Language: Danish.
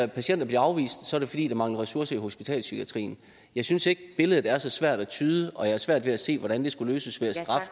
patienter bliver afvist er det fordi der mangler ressourcer i hospitalspsykiatrien jeg synes ikke billedet er så svært at tyde og jeg har svært ved at se hvordan det skulle løses ved at